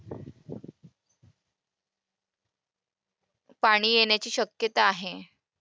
पाणी येण्याची शक्यता आहे.